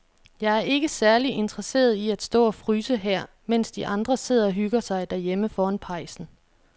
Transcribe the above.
Jeg er ikke særlig interesseret i at stå og fryse her, mens de andre sidder og hygger sig derhjemme foran pejsen.